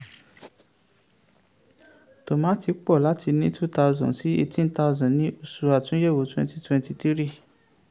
tòmátì pọ̀ láti ní two thousand sí eighteen thousand ní oṣù àtúnyẹ̀wò twenty twenty three